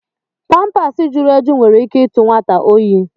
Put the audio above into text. pampaasi jụrụ eju nwere ike ịtụ nwata óyi.